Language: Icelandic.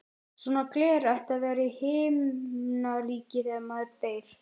Svona gler ætti að vera í Himnaríki þegar maður deyr.